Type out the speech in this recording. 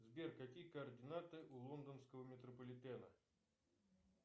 сбер какие координаты у лондонского метрополитена